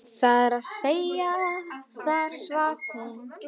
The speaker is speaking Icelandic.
Það er að segja: þar svaf hún.